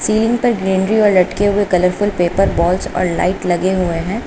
तीन पर ग्रीनरी व लटके हुए कलरफुल पेपर बॉल्स और लाइट लगे हुए हैं।